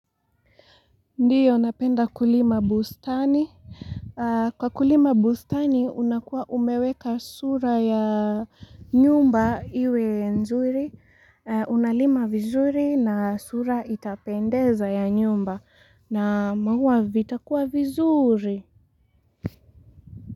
Ndiyo, napenda kulima bustani. Kwa kulima bustani, unakuwa umeweka sura ya nyumba iwe nzuri. Unalima vizuri na sura itapendeza ya nyumba. Na mahua vitakua vizuri.